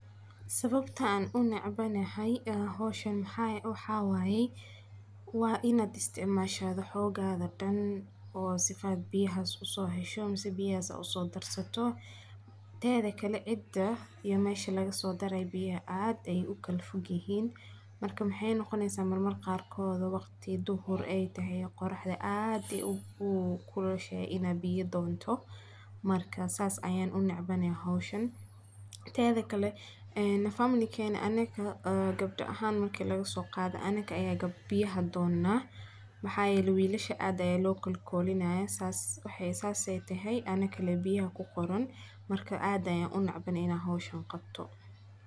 Sawabtan unecbanay howshan maxa waye waa inad isticmasho xogada dan oo sida biyaxas usohesho ama biyaxa usodirsato teda kale cida iyo mesha lagaso darayo biyaxa aad ayay ukala fogyixin marka waxey noqoneysa qarkoda waqti dhuhur ah aytaxay ay qoraxda aad ukulushaxay inad biya donta marka sas ayan unecbanay tedakale anaga gebda axan marki lagaso qado aya biyaxadona maxa yele wilasha aad aya lookolkolinaya sas ay taxay anaka lee biyaxa kuqoran marka aad ayan unecbanay ina howsha qabto.